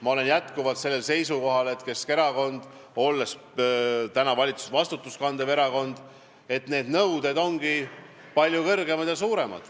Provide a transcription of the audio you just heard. Ma olen jätkuvalt seisukohal, et Keskerakonnal, olles täna valitsuses vastutust kandev erakond, ongi need nõuded palju rangemad.